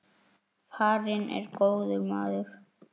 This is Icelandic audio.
Farinn er góður maður.